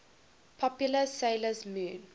popular 'sailor moon